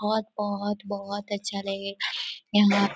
बहोत बहोत बहोत अच्छा रहे यहाँ पे--